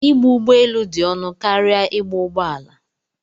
Ịgba ụgbọelu dị ọnụ karịa ịgba ụgbọala.